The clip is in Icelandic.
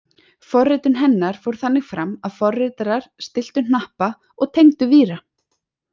Forritun hennar fór þannig fram að forritarar stilltu hnappa og tengdu víra.